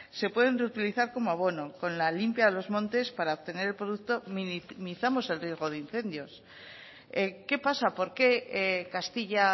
se pueden reutilizar como abono con la limpia de los montes para obtener el producto minimizamos el riesgo de incendios qué pasa por qué castilla